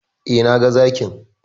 E, naga Zakin.